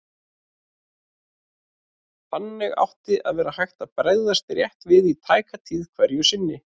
Þannig átti að vera hægt að bregðast rétt við í tæka tíð hverju sinni.